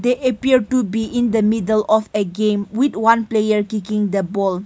appear to be in the middle of game with one player kicking the ball.